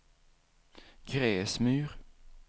Gräsmyr